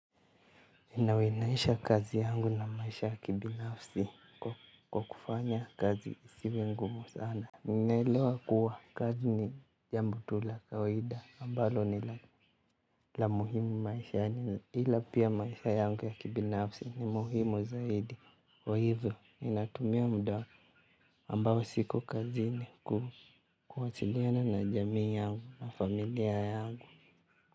Inawinaisha kazi yangu na maisha ya kibinafsi kwa kufanya kazi isiwe ngumu sana naelewa kuwa kazi ni jambo tu la kawaida ambalo ni la muhimu maishani ila pia maisha yangu ya kibinafsi ni muhimu zaidi kwa hivyo ninatumia muda ambao siko kazini kuwasiliana na jamii yangu na familia yangu.